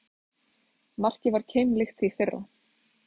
Markið var keimlíkt því fyrra